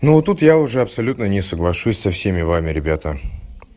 ну тут я уже абсолютно не соглашусь со всеми вами ребята